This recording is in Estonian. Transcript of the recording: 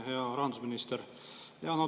Hea rahandusminister!